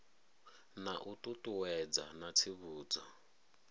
na u ṱuṱuwedza na tsivhudzo